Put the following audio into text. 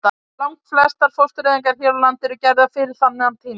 Lang flestar fóstureyðingar hér á landi eru gerðar fyrir þennan tíma.